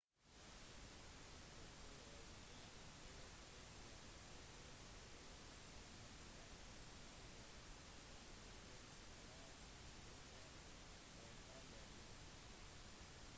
subkulturer kan være spesielle på grunn av deres medlemmers alder etnisitet klasse område og/eller kjønn